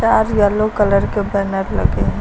लाल yellow colour के ऊपर mat लगे हैं।